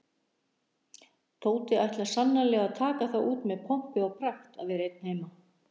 Tóti ætlar sannarlega að taka það út með pompi og pragt að vera einn heima.